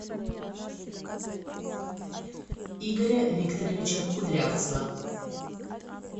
игоря викторовича кудрявцева